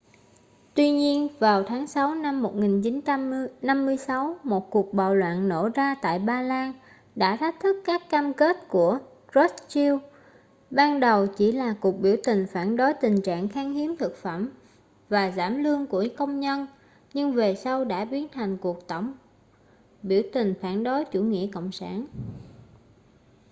tuy nhiên vào tháng sáu năm 1956 một cuộc bạo loạn nổ ra tại ba lan đã thách thức các cam kết của krushchev ban đầu chỉ là cuộc biểu tình phản đối tình trạng khan hiếm thực phẩm và giảm lương của công nhân nhưng về sau đã biến thành cuộc tổng biểu tình phản đối chủ nghĩa cộng sản